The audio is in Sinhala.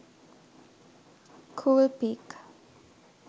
cool pic